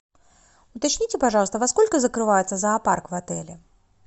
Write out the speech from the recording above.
уточните пожалуйста во сколько закрывается зоопарк в отеле